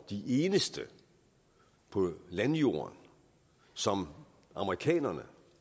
de eneste på landjorden som amerikanerne